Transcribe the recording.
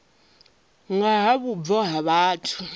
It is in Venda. nga ha vhubvo ha vhathu